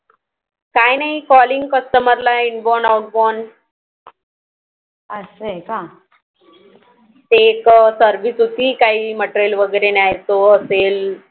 काही नाही CallingCustomer ला Inbond outbound असं आहे का ते एक Service होतो काही Material वैगेरे न्यायचं असेल